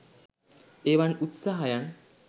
එවන් උත්සාහයන්